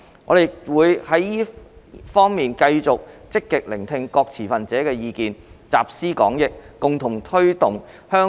我們亦會在這方面繼續積極聽取各持份者的意見，集思廣益，共同推動香港的創科發展。